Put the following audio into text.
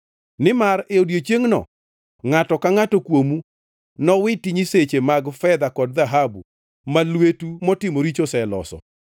Nimar e odiechiengno ngʼato ka ngʼato kuomu nowiti nyiseche mag fedha kod dhahabu, ma lwetu motimo richo oseloso.